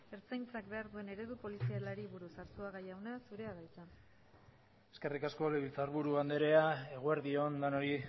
ertzaintzak behar duen eredu polizialari buruz arzuaga jauna zurea da hitza eskerrik asko legebiltzarburu andrea eguerdi on denoi